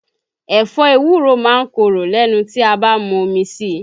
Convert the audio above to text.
Ẹ̀fọ́ ewúro máa ń korò lẹ́nu tí a bá mu omi síi